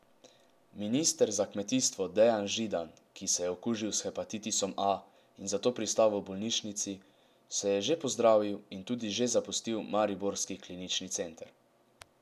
Minister za kmetijstvo Dejan Židan, ki se je okužil s hepatitisom A in zato pristal v bolnišnici, se je že pozdravil in tudi že zapustil mariborski klinični center.